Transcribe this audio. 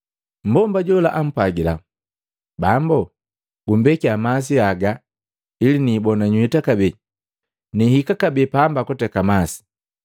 Mmbomba jola ampwagila, “Bambo, gumbekia masi haga ili niibona nywita kabee, nihika kabee pamba kuteka masi.”